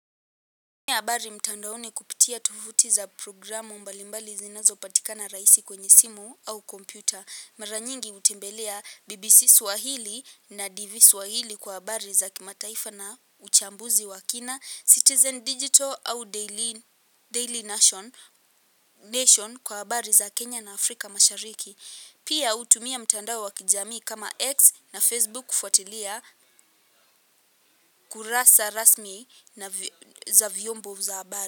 Tumia habari mtandaoni kupitia tovuti za programu mbalimbali zinazo patikana rahisi kwenye simu au kompyuta. Mara nyingi hutembelea BBC Swahili na DV Swahili kwa habari za kimataifa na uchambuzi wa kina Citizen Digital au Daily nation Nation kwa habari za Kenya na Afrika mashariki. Pia hutumia mtandao wa kijamii kama X na Facebook kufuatilia kurasa rasmi za vyombo za habari.